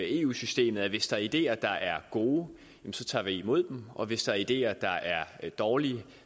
eu systemet at hvis der er ideer der er gode så tager vi imod dem og hvis der er ideer der er dårlige